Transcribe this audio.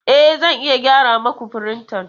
E, Zan iya gyara muku firintan.